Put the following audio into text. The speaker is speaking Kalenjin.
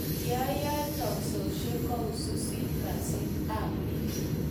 Yaoe teksoshiek ko wisisit kasit ab bik